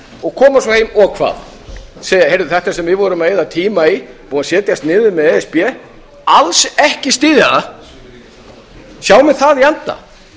og koma svo heim og hvað segja þetta sem við vorum að eyða tíma í búið að setjast niður með e s b alls ekki styðja það sjá menn það í anda